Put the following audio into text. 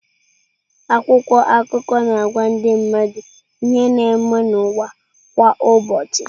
Akwụkwọ akụkọ na-agwa ndị mmadụ ihe na-eme n’ụwa kwa ụbọchị.